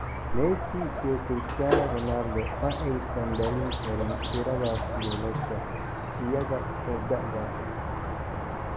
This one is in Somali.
Messi iyo Christiano Ronaldo ma aysan dhalin karin tiradaas goolasha iyaga oo da'da ah.